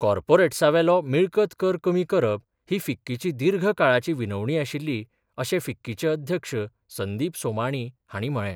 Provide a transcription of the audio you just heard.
कार्पोरेट्सावेलो मिळकत कर कमी करप ही फिक्कीची दिर्घ काळाची विनवणी आशिल्ली, अशे फिक्कीचे अध्यक्ष संदिप सोमाणी हाणी म्हळे.